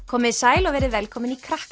komiði sæl og verið velkomin í